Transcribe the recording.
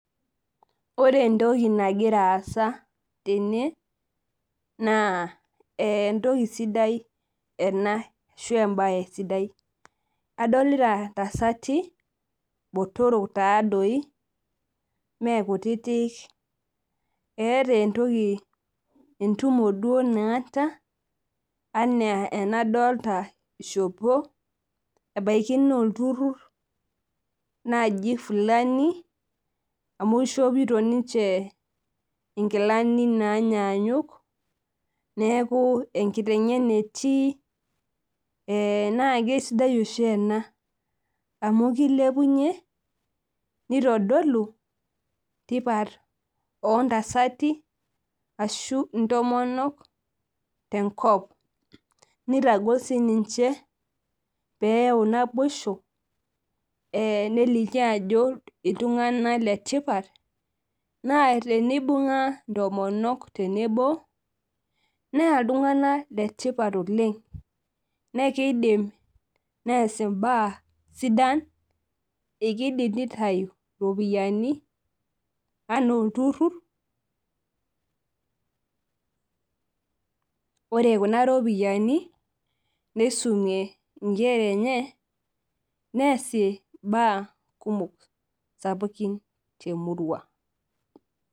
Ore entoki nagira aasa tene, naa entoki sidai ena, ashu ebae sidai. Adolita ntasati botorok tadoi mekutitik, eeta entoki entumo duo naata, enaa enadolta ishopo, ebaiki nolturrur naji fulani, amu ishopito ninche inkilani nanyanyuk, neeku enkiteng'ena etii naa kesidai oshi ena, amu kilepunye, nitodolu tipat ontasati ashu intomonok tenkop. Nitagol sininche peu naboisho, nelikio ajo iltung'anak letipat, naa tenibung'a intomonok tenebo, naa iltung'anak letipat oleng. Nekeidim nees imbaa sidan, ekidim nitayu iropiyiani enaa olturrur, ore kuna ropiyiani, nisumie inkera enye, neesie imbaa kumok sapukin temurua.